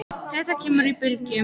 Þetta kemur í bylgjum.